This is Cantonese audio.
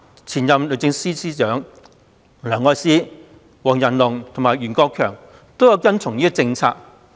前任律政司司長梁愛詩、黃仁龍及袁國強皆有跟從這政策。